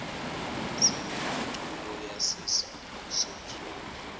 sinemiculo yase sontfweni